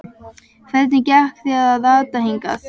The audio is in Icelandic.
Hvernig gekk þér að rata hingað?